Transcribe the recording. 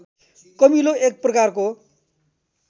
Camillo एक प्रकारको